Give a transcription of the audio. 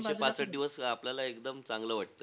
तीनशे-पासष्ठ दिवस आपल्याला एकदम चांगलं वाटतं.